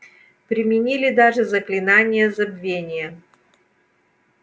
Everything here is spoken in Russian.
применили даже заклинание забвения